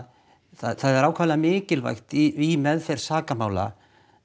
það er ákaflega mikilvægt í meðferð sakamála